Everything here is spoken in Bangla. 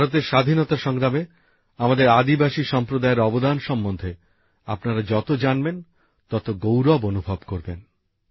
ভারতের স্বাধীনতা সংগ্রামে আমাদের আদিবাসী সম্প্রদায়ের অবদান সম্বন্ধে আপনারা যত জানবেন তত গৌরব অনুভব করবেন